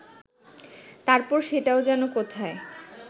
তারপর সেটাও যেন কোথায়